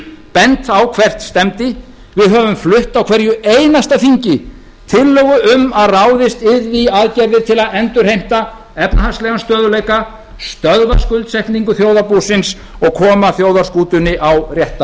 bent á hvert stefndi við höfum flutt á hverju einasta þingi tillögu um að ráðist yrði í aðgerðir til að endurheimta efnahagslegan stöðugleika stöðva skuldsetningu þjóðarbúsins og koma þjóðarskútunni á rétta